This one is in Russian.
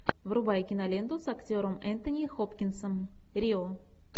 врубай киноленту с актером энтони хопкинсом рио